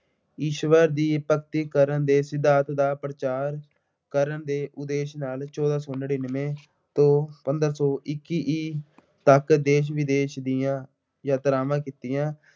ਈਸ਼ਵਰ ਦੀ ਭਗਤੀ ਕਰਨ ਦੇ ਸਿਧਾਂਤ ਦਾ ਪ੍ਰਚਾਰ ਕਰਨ ਦੇ ਉਦੇਸ਼ ਨਾਲ ਚੋਦਾ ਸੌ ਨੜਿੱਨਵੇਂ ਤੋਂ ਪੰਦਰਾਂ ਸੌ ਇੱਕੀ ਈ ਤੱਕ ਦੇਸ਼ ਵਿਦੇਸ਼ ਦੀਆਂ ਯਾਤਰਾਵਾਂ ਕੀਤੀਆਂ।